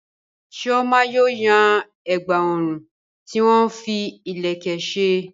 Chioma yóò yan ẹ̀gbà ọrùn tí wọ́n fi ìlẹ̀kẹ̀ ṣe.